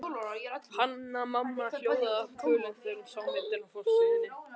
Hanna-Mamma hljóðaði af kvölum þegar hún sá myndina á forsíðunni.